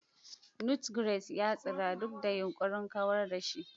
Nutgrass ya tsira duk da yunkurin kawar da shi.